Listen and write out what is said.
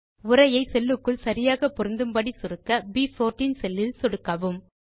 உரையை செல்லுக்குள் சரியாக பொருந்தும்படி சுருக்க ப்14 செல்லில் சொடுக்கவும்